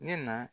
Ne na